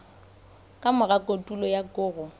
ka mora kotulo ya koro